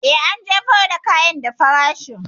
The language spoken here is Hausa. Eh, an jefo da kayan da farashut.